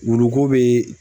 Wuluko bɛ